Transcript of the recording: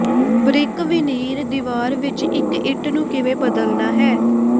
brick veneer ਦੀਵਾਰ ਵਿਚ ਇਕ ਇੱਟ ਨੂੰ ਕਿਵੇਂ ਬਦਲਣਾ ਹੈ